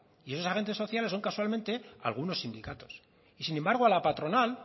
y esos agentes sociales son casualmente algunos sindicatos y sin embargo a la patronal